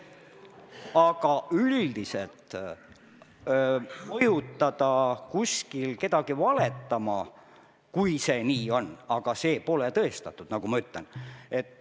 Aga üldiselt, mõjutada kedagi kusagil valetama – see pole tõestatud.